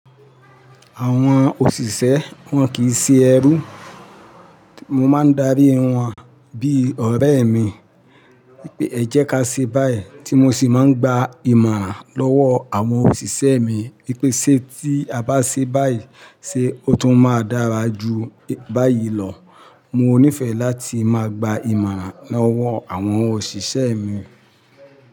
Àwọn òṣìṣẹ́ wọn kì í ṣe ẹrú. Mo máa ń darí wọn bí ọ̀rẹ́ mi pé ẹ jẹ́ ká ṣe báyìí tí mo sì máa ń gba ìmọ̀ràn lọ́wọ́ àwọn òṣìṣẹ́ mi pé ṣé tí a bá ṣe báyìí ṣé ó tún máa dára ju báyìí lọ. Mo nífẹ̀ẹ́ láti máa gba ìmọ̀ràn lọ́wọ́ àwọn òṣìṣẹ́ mi.